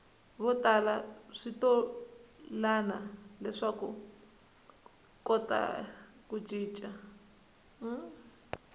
votala switolani leswakuva kota ku cica